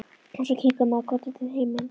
Og svo kinkar maður kolli til himins.